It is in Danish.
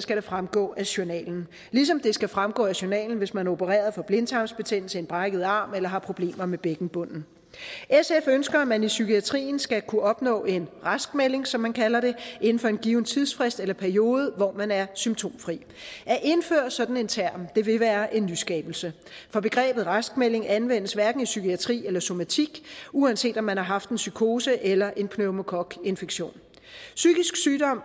skal det fremgå af journalen ligesom det skal fremgå af journalen hvis man er opereret for blindtarmsbetændelse en brækket arm eller har problemer med bækkenbunden sf ønsker at man i psykiatrien skal kunne opnå en raskmelding som man kalder det inden for en given tidsfrist eller periode hvor man er symptomfri at indføre sådan en term vil være en nyskabelse for begrebet raskmelding anvendes hverken i psykiatrien eller somatikken uanset om man har haft en psykose eller en pneumokokinfektion psykisk sygdom